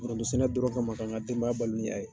dɔrɔn kama kan ka denbaya balo ni a ye.